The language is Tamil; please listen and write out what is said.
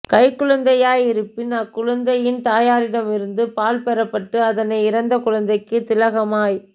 கைக்குழந்தையாயிருப்பின் அக்குழந்தையின் தாயாரிடம் இருந்து பால் பெறப்பட்டு அதனை இறந்த குழந்தைக்கு திலகமாய்